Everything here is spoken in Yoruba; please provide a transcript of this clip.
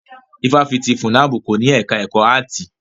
Ifáfitì FUNAB kò ní ẹka ẹ̀kọ́ áàtì.